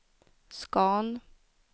Scan